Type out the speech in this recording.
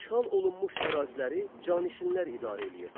İşğal olunmuş əraziləri canişinlər idarə eləyirdi.